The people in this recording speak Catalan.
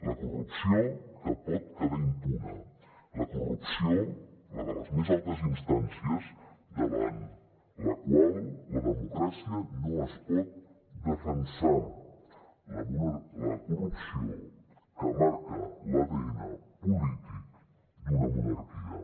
la corrupció que pot quedar impune la corrupció la de les més altes instàncies davant la qual la democràcia no es pot defensar la corrupció que marca l’adn polític d’una monarquia